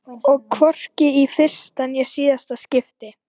Og hvorki í fyrsta né síðasta skipti.